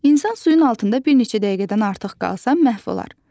İnsan suyun altında bir neçə dəqiqədən artıq qalsa məhv olar.